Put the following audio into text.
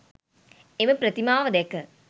එම ප්‍රතිමාව දැක